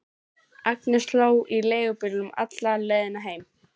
Agnes hló í leigubílnum alla leiðina heim.